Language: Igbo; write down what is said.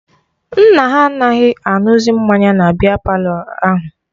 Nna ha anaghị aṅụzi mmanya na biya palọ ahụ